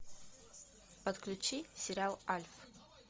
подключи сериал альф